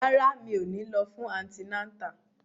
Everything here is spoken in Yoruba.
Rárá, mi ò ní lọ fún antinátà